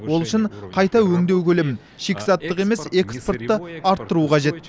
ол үшін қайта өңдеу көлемін шикізаттық емес экспортты арттыру қажет